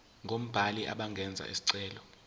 ngobani abangenza isicelo